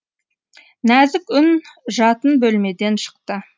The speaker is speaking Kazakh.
нәзік үн жатын бөлмеден шықты